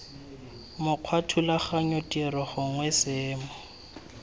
mokgwa thulaganyo tiro gongwe seemo